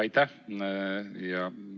Aitäh!